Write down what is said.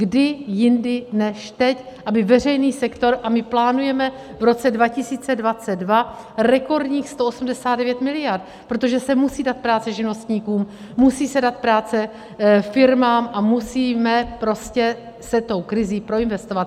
Kdy jindy než teď, aby veřejný sektor - a my plánujeme v roce 2022 rekordních 189 miliard, protože se musí dát práce živnostníkům, musí se dát práce firmám a musíme prostě se tou krizí proinvestovat.